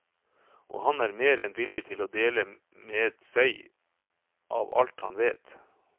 Og han er mer enn villig til å dele med seg av alt han vet.